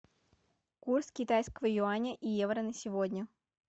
курс китайского юаня и евро на сегодня